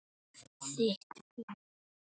Þitt fé.